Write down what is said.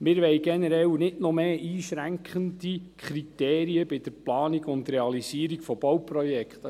Wir wollen generell nicht noch mehr einschränkende Kriterien bei der Planung und Realisierung von Bauprojekten.